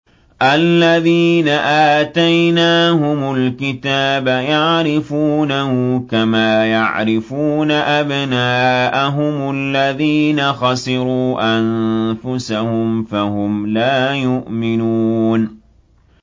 الَّذِينَ آتَيْنَاهُمُ الْكِتَابَ يَعْرِفُونَهُ كَمَا يَعْرِفُونَ أَبْنَاءَهُمُ ۘ الَّذِينَ خَسِرُوا أَنفُسَهُمْ فَهُمْ لَا يُؤْمِنُونَ